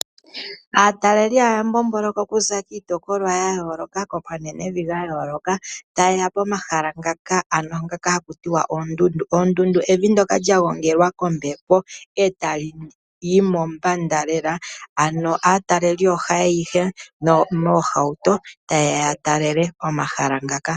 Aataleli haya mbomboloka kuza kiitopolwa yayoloka, komanenevi gayoloka tayeya okutalelapo pomahala goondundu. Oondundu evi ndyoka lya gongelwa kombepo etaliyi mombanga lela naataleli ohayeya yeli moohauto tayeya yatalele omahala ngaka.